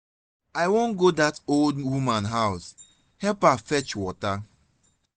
i wan go dat old woman house help her fetch water